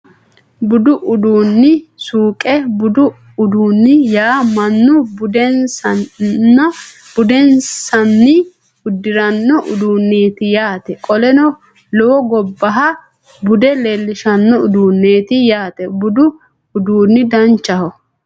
Budu uduunni suuqe budu uduunni yaa mannu budinsanni udiranno uduuneeti yaate qoleno lowo gobbaha bude leellishano uduuneeti yaate budu uduunni danchaho